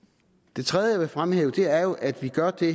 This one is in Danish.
det tredje fremhæve er at vi gør det